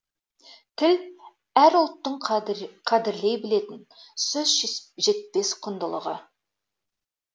тіл әр ұлттың қадірлей білетін сөз жетпес құндылығы